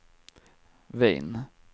Wien